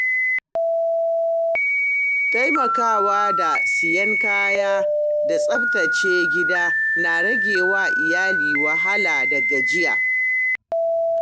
Taimakawa da siyan kaya da tsaftace gida na rage wa iyaye wahala da gajiya.